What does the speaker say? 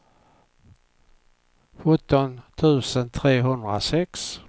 sjutton tusen trehundrasex